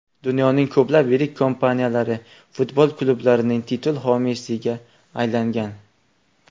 Dunyoning ko‘plab yirik kompaniyalari futbol klublarining titul homiysiga aylangan.